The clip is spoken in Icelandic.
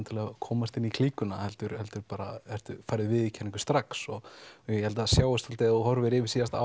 til að komast inn í klíkuna heldur heldur færðu viðurkenningu strax og ég held að það sjáist svolítið þegar þú horfir yfir síðasta